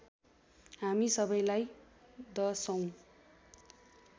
हामी सबैलाई दशौँ